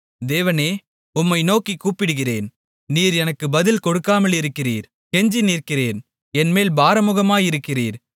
தேவனே உம்மை நோக்கிக் கூப்பிடுகிறேன் நீர் எனக்கு பதில் கொடுக்காமலிருக்கிறீர் கெஞ்சி நிற்கிறேன் என்மேல் பாராமுகமாயிருக்கிறீர்